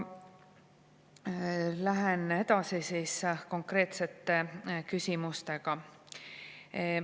Lähen edasi siis konkreetsete küsimustega.